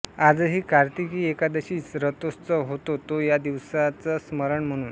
आजही कार्तिकी एकादशीस रथोत्सव होतो तो या दिवसाचं स्मरण म्हणुन